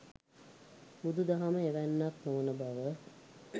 බුදු දහම එවැන්නක් නොවන බව